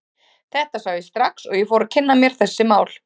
Þetta sá ég strax og ég fór að kynna mér þessi mál.